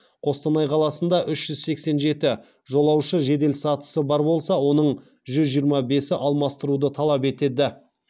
қостанай қаласында үш жүз сексен жеті жолаушы жеделсатысы бар болса оның жүз жиырма бесі алмастыруды талап етеді